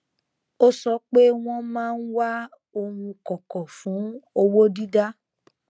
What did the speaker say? ó sọ pé wọn máa ń wá oun kọkọ fún owó dídá